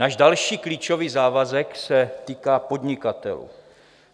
Náš další klíčový závazek se týká podnikatelů.